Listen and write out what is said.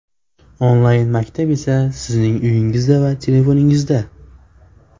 Onlayn-maktab esa sizning uyingizda va telefoningizda !!!